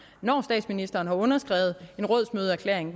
når statsministeren har underskrevet en rådsmødeerklæring